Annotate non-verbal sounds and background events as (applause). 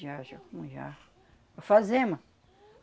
(unintelligible) com já... Alfazema.